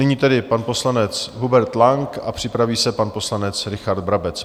Nyní tedy pan poslanec Hubert Lang a připraví se pan poslanec Richard Brabec.